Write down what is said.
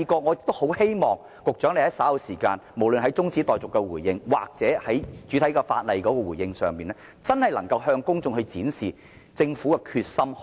我很希望局長稍後就中止待續議案或擬議決議案作出回應時，能向公眾展示政府的決心。